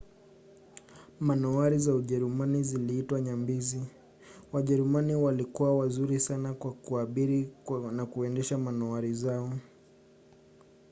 manowari za ujerumani ziliitwa nyambizi. wajerumani walikuwa wazuri sana kwa kuabiri na kuendesha manowari zao